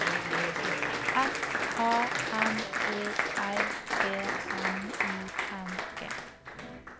S A M O R D N I N G